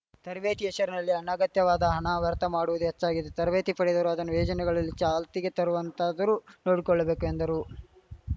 ತರಬೇತಿ ಹೆಶರಿನಲ್ಲಿ ಅನಗತ್ಯವಾದ ಹಣ ವ್ಯರ್ಥ ಮಾಡುವುದು ಹೆಚ್ಚಾಗಿದೆ ತರಬೇತಿ ಪಡೆದವರು ಅದನ್ನು ಯೋಜನೆಗಳಲ್ಲಿ ಚಾಲ್ತಿಗೆ ತರುವಂತಾದರೂ ನೋಡಿಕೊಳ್ಳಬೇಕು ಎಂದರು